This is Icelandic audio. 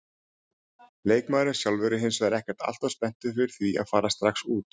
Leikmaðurinn sjálfur er hinsvegar ekkert alltof spenntur fyrir því að fara strax út.